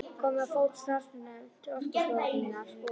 Komið á fót samstarfsnefnd Orkustofnunar og